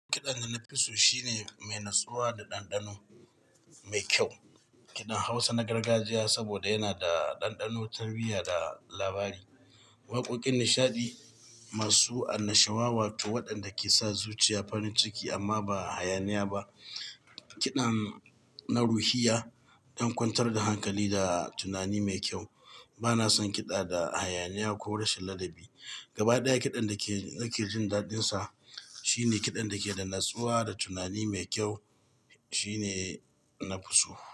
Kiɗan da na fi so shine mai natsuwa da ɗanɗano mai kyau. Kiɗan Hausa na gargajiya saboda yana da ɗanɗano, tarbiya da labari. Waƙoƙin nishaɗi masu annashuwa, wato waɗanda ke sa zuciya farin ciki amma ba hayaniya ba. Kiɗan na ruhiya don kwantar da hankali da tunani mai kyau. Ba na son kiɗa da hayaniya ko rashin ladabi. Gaba ɗaya kiɗan da nake jin daɗinsa shine kiɗan da ke da natsuwa da tunani mai kyau, shine na fi so.